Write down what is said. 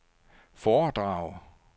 foredrag